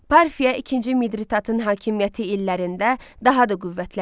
Parfiya ikinci Midridatın hakimiyyəti illərində daha da qüvvətləndi.